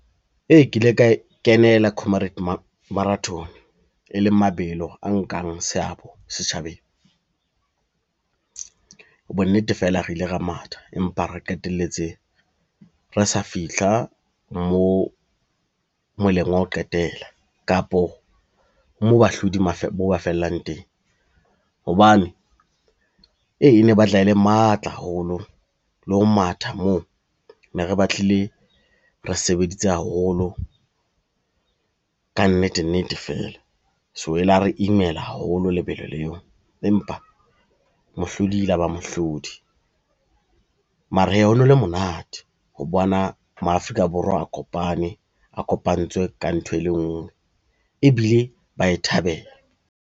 Ee, ke ile ka e kenela comrades marathon, e leng mabelo a nkang seabo setjhabeng. Bonnete fela re ile ra matha, empa re qeteletse re sa fihla moo moleng wa ho qetela kapo moo bahlodi mo ba fellang teng, hobane e ne e batla e le matla haholo le ho matha moo ne re ba tlile re sebeditse haholo ka nnete nnete fela, so e la re imela haholo lebelo leo empa mohlodi e la ba mohlodi. Mara hee ho no le monate ho bona ma-Afrika Borwa a kopane, a kopantswe ka ntho e le nngwe ebile ba e thabela.